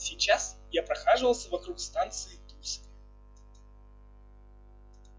сейчас я прохаживался вокруг станции тульская